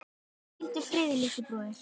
Hvíldu friði, litli bróðir.